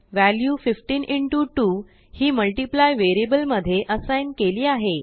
व्हेल्यु15 2हिmultiplyवेरिअबल मध्ये असाइग्नकेली आहे